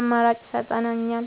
አማራጭ ይሰጠኛል።